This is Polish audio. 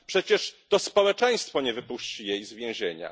Przecież to społeczeństwo nie wypuści jej z więzienia.